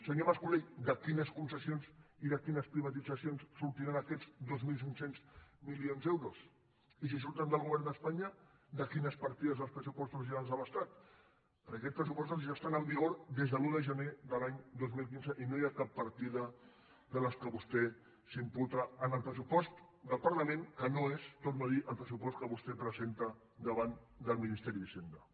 senyor mas colell de quines concessions i de quines privatitzacions sortiran aquests dos mil cinc cents milions d’euros i si surten del govern d’espanya de quines partides dels pressupostos generals de l’estat perquè aquests pressupostos ja estan en vigor des de l’un de gener de l’any dos mil quinze i no hi ha cap partida de les que vostè s’imputa en el pressupost del parlament que no és ho torno a dir el pressupost que vostè presenta davant del ministeri d’hisenda